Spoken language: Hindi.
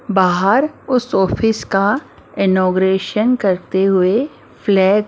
बाहर उस ऑफिस का इनोगरेशन करते हुए फ्लैग ।